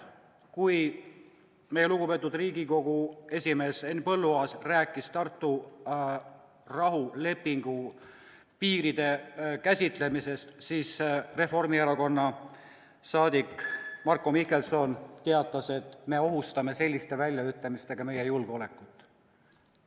Kui meie lugupeetud Riigikogu esimees Henn Põlluaas rääkis Tartu rahulepingu kohaste piiride käsitlemisest, siis Reformierakonna liige Marko Mihkelson teatas, et me ohustame selliste väljaütlemistega meie julgeolekut.